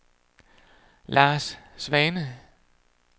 Lars Svane